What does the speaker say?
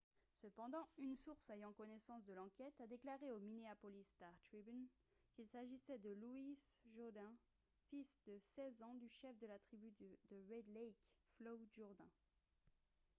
cependant une source ayant connaissance de l'enquête a déclaré au minneapolis star-tribune qu'il s'agissait de louis jourdain fils de 16 ans du chef de la tribu de red lake floyd jourdain